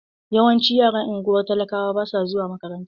Yawancin yaran ungwar talakawa basu zuwa makaranta.